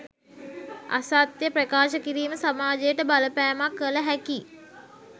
අසත්‍ය ප්‍රකාශ කිරීම සමාජයට බලපෑමක් කලහැකි